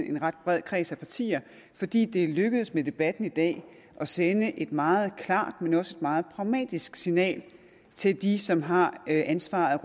en ret bred kreds af partier fordi det er lykkedes med debatten i dag at sende et meget klart men også meget pragmatisk signal til de som har ansvaret